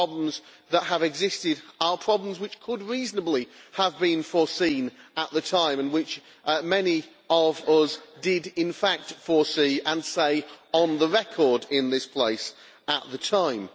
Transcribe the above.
The problems that arose are problems which could reasonably have been foreseen at the time, and which many of us did in fact foresee and said on the record, in this place, at the time.